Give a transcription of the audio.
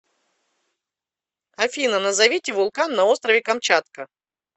афина назовите вулкан на острове камчатка